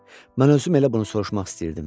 Mən özüm elə bunu soruşmaq istəyirdim.